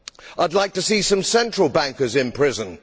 I would like to see some central bankers in prison.